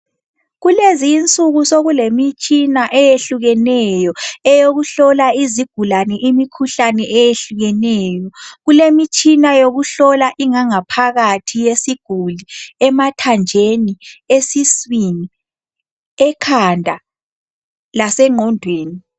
Kulezinsuku sokulemitshina eyehlukeneyo eyokuhlola izigulane imikhuhlane eyehlukeneyo kulemitshina yokuhlola ingangaphakathi yesiguli emathanjeni ,esiswini ,ekhanda lasenqgondweni.